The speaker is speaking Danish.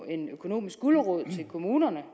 en økonomisk gulerod til kommunerne